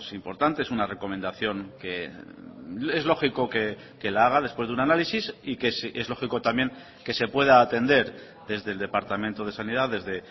importante es una recomendación que es lógico que la haga después de un análisis y que es lógico también que se pueda atender desde el departamento de sanidad desde